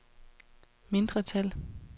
mindretal